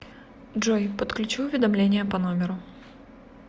джой подключи уведомления по номеру